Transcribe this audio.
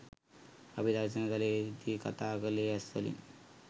අපි දර්ශන තලයේදී කතා කළේ ඇස්වලින්.